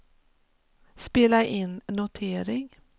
spela in notering